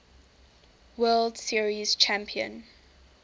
world series champion